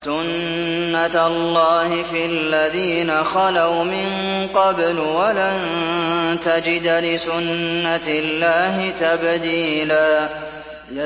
سُنَّةَ اللَّهِ فِي الَّذِينَ خَلَوْا مِن قَبْلُ ۖ وَلَن تَجِدَ لِسُنَّةِ اللَّهِ تَبْدِيلًا